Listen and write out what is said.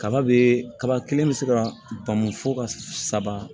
Kaba be kaba kelen bɛ se ka bɔn fo ka saba